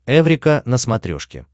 эврика на смотрешке